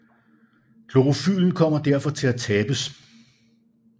Klorofylen kommer derfor til at tabes